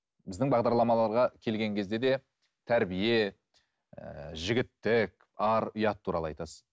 біздің бағдарламаларға келген кезде де тәрбие ііі жігіттік ар ұят туралы айтасыз